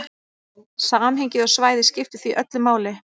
Samhengið og svæðið skiptir því öllu máli.